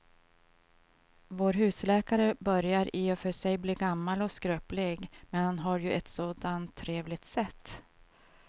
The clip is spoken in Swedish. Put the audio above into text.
Vår husläkare börjar i och för sig bli gammal och skröplig, men han har ju ett sådant trevligt sätt!